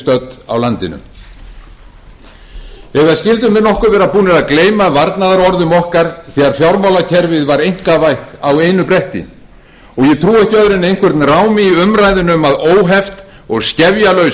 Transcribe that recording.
stödd á landinu eða skyldu menn nokkuð vera búnir að gleyma varnaðarorðum okkar þegar fjármálakerfið var einkavætt á einu bretti ég trúi ekki öðru en einhvern rámi í umræðuna um að óheft og skefjalaus